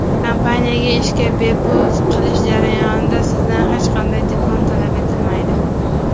Kompaniyaga ishga qabul qilish jarayonida sizdan hech qanday diplom talab etilmaydi.